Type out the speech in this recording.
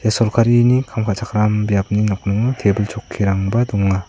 sorkarini kam ka·chakram biapni nokningo tebil chokkirangba donga.